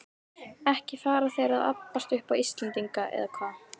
Ekki fara þeir að abbast upp á Íslendinga, eða hvað?